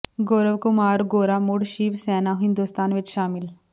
ਗੌਰਵ ਕੁਮਾਰ ਗੋਰਾ ਮੁੜ ਸ਼ਿਵ ਸੈਨਾ ਹਿੰਦੁਸਤਾਨ ਵਿਚ ਸ਼ਾਮਿਲ